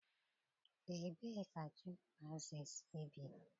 Ebee ka chimpanzees bi?